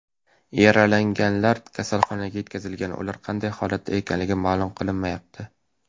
Yaralanganlar kasalxonaga yetkazilgan, ular qanday holatda ekanligi ma’lum qilinmayapti.